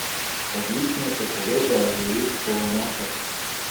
Odlično se povežejo z jurčkovo omako.